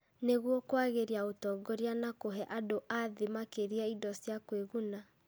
Nĩguo kwagĩria ũtongoria na kũhe andũ a thĩ makĩria indo cia kũĩguna.